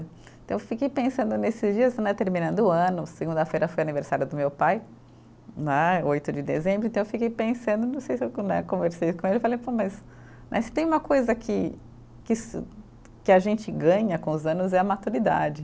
Então eu fiquei pensando nesses dias né, terminando o ano, segunda-feira foi aniversário do meu pai né, oito de dezembro, então eu fiquei pensando, não sei se eu com né, conversei com ele, eu falei pô, mas, mas se tem uma coisa que que se, que a gente ganha com os anos é a maturidade.